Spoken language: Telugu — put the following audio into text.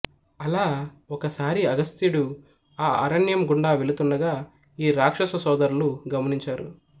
అలా ఒక సారి అగస్త్యుడు ఆ అరణ్యం గుండా వెళుతుండగా ఈ రాక్షస సోదరులు గమనించారు